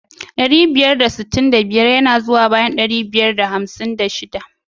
Ɗari biyar da sittin da biyar ya na zuwa bayan dari biyar da hamsin da shiɗa.